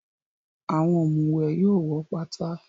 Àwọn òmùwẹ̀ yóò wọ́ pátá.